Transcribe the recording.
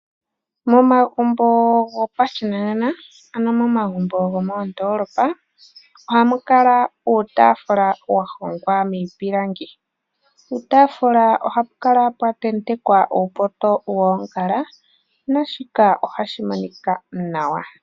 Momagumbo gopashinanena ano momagumbo gomoondoolopa ohamu kala uutaafula wa hongwa miipilangi. Puutaafula oha pu kala pwa tentekwa uupoto woongala naashika ohashi monika nawa.